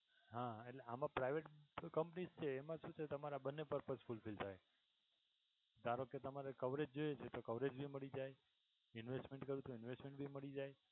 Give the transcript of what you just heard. હા એટલે આમાં private companies છે એમાંથી તો તમારા બંને purpose fulfill થાય ધારોકે તમારે coverage જોઈએ છે coverage ભી મળી જાય investment કરવું તો investment ભી મળી જાય.